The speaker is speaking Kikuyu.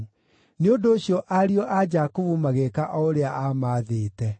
Nĩ ũndũ ũcio ariũ a Jakubu magĩĩka o ũrĩa aamaathĩte: